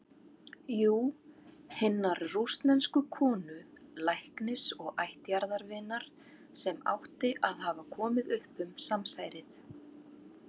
Jú- hinnar rússnesku konu, læknis og ættjarðarvinar, sem átti að hafa komið upp um samsærið.